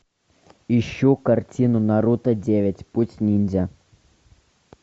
ищу картину наруто девять путь ниндзя